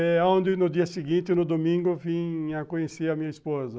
É onde no dia seguinte, no domingo, eu vim a conhecer a minha esposa.